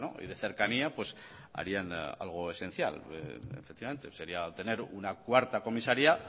y de cercanía harían algo esencial efectivamente sería tener una cuarta comisaría